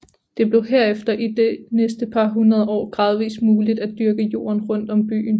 Det blev herefter i de næste par hundrede år gradvist muligt at dyrke jorden rundt om byen